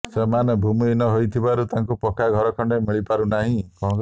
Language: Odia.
ସେମାନେ ଭୂମିହୀନ ହୋଇଥିବାରୁ ତାଙ୍କୁ ପକ୍କା ଘର ଖଣ୍ଡେ ମିଳିପାରୁନାହିଁ